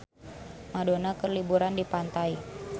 Madonna keur liburan di pantai